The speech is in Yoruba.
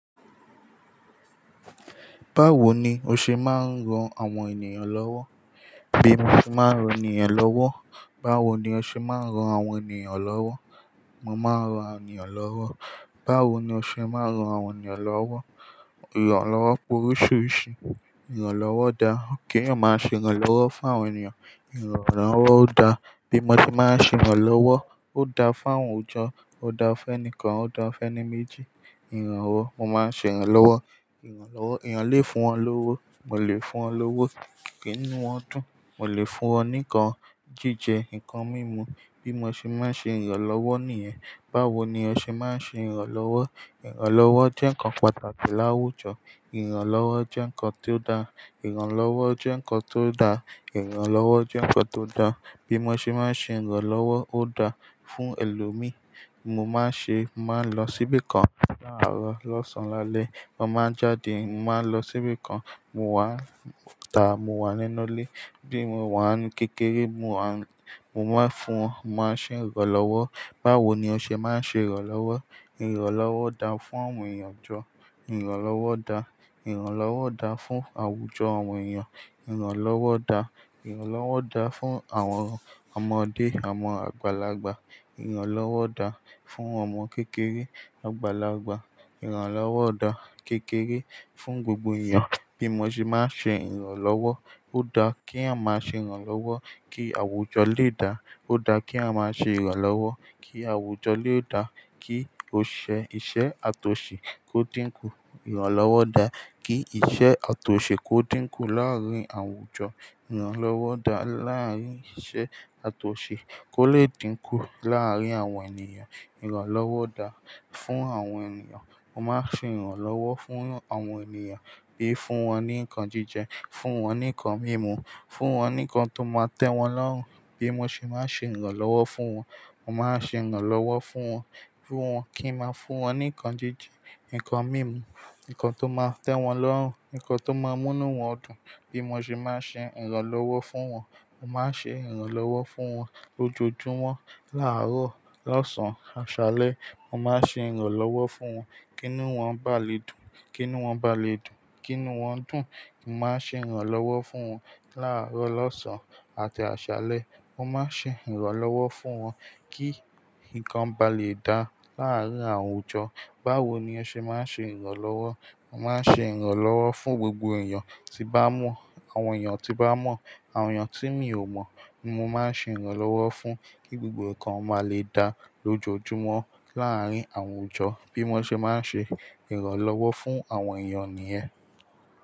Báwo ni o ṣe máa ń ran àwọn ènìyàn lọ́wọ́? Bí mo ṣe máa ń ran ènìyàn lọ́wọ́. Báwo ni o ṣe máa ń ran àwọn ènìyàn lọ́wọ́? Mo máa ń ran ènìyàn lọ́wọ́. Báwo ni o ṣe máa ń ran àwọn ènìyàn lọ́wọ́? Ìrànlọ́wọ́ pé oríṣiríṣi. Ìrànlọ́wọ́ da. Keyan máa ṣe ìrànlọ́wọ́ fún àwọn ènìyàn? Ìrànlọ́wọ́ ó dá. Bí mo ṣe máa ń ṣe ìrànlọ́wọ́, ó dá fún àwọn òjọ́, ó dá fún ẹni kan, ó dá fún ẹni méjì. Ìrànwo, mo máa ṣe ìrànlọ́wọ́. Ìrànlọ́wọ́, èèyàn lè fún wọn lówó, mo lè fún wọn lówó. Kíni won dùn, mo lè fún wọn ní nnkan jíjẹ, nnkan mímu. Bí mo ṣe máa ń ṣe ìrànlọ́wọ́ nìyẹn. Báwo ni o ṣe máa ń ṣe ìrànlọ́wọ́? Ìrànlọ́wọ́ jẹ́ nnkan pàtàkì láwùjọ. Ìrànlọ́wọ́ jẹ́ nnkan tó da. Ìrànlọ́wọ́ jẹ́ nnkan tó da. Ìrànlọ́wọ́ jẹ́ nnkan tó da. Bí mo ṣe máa ń ṣe ìrànlọ́wọ́, ó dá fún ẹlòmíí. Mo máa ń ṣe, mo máa ń lọ síbì kan láàárọ̀, lọ́sàn-án lálẹ́. Mo máa ń jáde, mo máa ń lọ síbì kan. Mo wà nta, mo wà nínú ilé. Bí mo wà ní kékeré, mo wa, mo máa ń fún, mo máa ṣe ìrànlọ́wọ́. Báwo ni o ṣe máa ń ṣe ìrànlọ́wọ́? Ìrànlọ́wọ́ da fún àwọn èèyàn jọ. Ìrànlọ́wọ́ da. Ìrànlọ́wọ́ da fún àwùjọ àwọn èèyàn. Ìrànlọ́wọ́ da. Ìrànlọ́wọ́ da fún àwọn ọmọdé, àwọn àgbàlagbà. Ìrànlọ́wọ́ da fún àwọn ọmọ kékeré, àgbàlagbà. Ìrànlọ́wọ́ da kékeré fún gbogbo èèyàn bí mo ṣe máa ń ṣe ìrànlọ́wọ́. Ó da kí yen máa ṣe ìrànlọ́wọ́ kí àwùjọ lè da. Ó da kí a máa ṣe ìrànlọ́wọ́ kí àwùjọ lè da, kí osise ati osi kó dínkù. Ìrànlọ́wọ́ da kí ìṣe àtosi kó dínkù láàárín àwùjọ. Ìrànlọ́wọ́ da láàárín ìṣe àtosi kó lè dínkù láàárín àwọn ènìyàn. Ìrànlọ́wọ́ da fún àwọn ènìyàn. Mo máa ṣe ìrànlọ́wọ́ fún àwọn ènìyàn bí fún wọn ní nǹkan jíjẹ, fún wọn ní nǹkan mímu, fún wọn ní nǹkan tó máa tẹ́ wọn lọ́run. Bí mo ṣe máa ń ṣe ìrànlọ́wọ́ fún wọn. Mo máa ṣe ìrànlọ́wọ́ fún wọn, fun wọ́n kí máa fún wọn ní nǹkan jíjẹ, nǹkan mímu, nǹkan tó máa tẹ́ wọn lọ́run, nǹkan tó máa múni wọ́n dùn. Bí mo ṣe máa ń ṣe ìrànlọ́wọ́ fún wọn. Mo máa ń ṣe ìrànlọ́wọ́ fún wọn lójoojúmọ́, láàárọ̀, lọ́sàn-án, àsálẹ́. Mo máa ṣe ìrànlọ́wọ́ fún wọn kí inu won ba lè dùn, kí ni wọ́n ba lè dùn, kí ni wọ́n dùn. Mo máa ṣe ìrànlọ́wọ́ fún wọn láàárọ̀, lọ́sàn-án àti àsálẹ́. Mo máa ṣe ìrànlọ́wọ́ fún wọn kí nǹkan ba lè da láàárín àwùjọ. Báwo ni o ṣe máa ń ṣe ìrànlọ́wọ́? Mo máa ń ṣe ìrànlọ́wọ́ fún gbogbo èèyàn tí bá mọ̀, àwọn èèyàn tí bá mọ̀, àwọn èèyàn tí mi ò mọ̀. Mo máa ń ṣe ìrànlọ́wọ́ fún kí gbogbo nǹkan máa lè da lójoojúmọ́ láàárín àwùjọ bí mo ṣe máa ń ṣe ìrànlọ́wọ́ fún àwọn èèyàn nìyẹn.